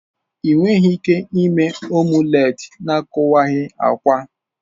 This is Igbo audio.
Ị nweghị ike ime omulet na-akuwaghi akwa.